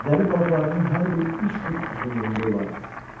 Zəli balıqlarının hər biri 3 fut uzunluğunda olardı.